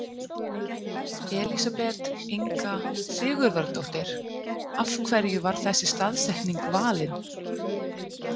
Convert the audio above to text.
Elísabet Inga Sigurðardóttir: Af hverju var þessi staðsetning valin?